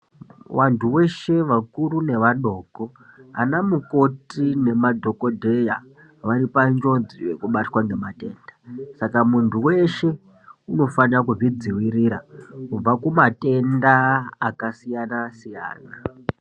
Vantu veshe, vakuru nevadoko, anamukoti nemadhogodheya varipanjodzi yekubatwa ngematenda, saka muntu weshe unofane kuzvidzivirira kubva kumatenda akasiyana-siyana.